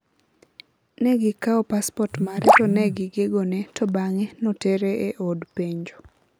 negikao paspot mare to negigegone to bange notere e od penjo.